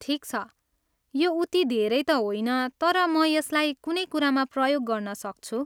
ठिक छ, यो उति धेरै त होइन, तर म यसलाई कुनै कुरामा प्रयोग गर्न सक्छु।